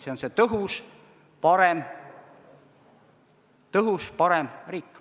See on see tõhus, parem riik.